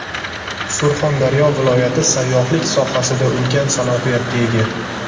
Surxondaryo viloyati sayyohlik sohasida ulkan salohiyatga ega.